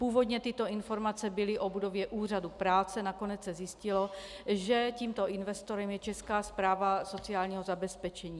Původně tyto informace byly o budově úřadu práce, nakonec se zjistilo, že tímto investorem je Česká správa sociálního zabezpečení.